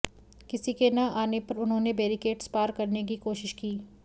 किसी के न आने पर उन्होंने बेरिकेट्स पार करने की कोशिश की